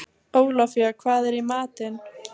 Ólafía, hvað er í matinn?